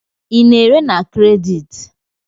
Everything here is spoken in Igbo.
Ị na-ere na kredit?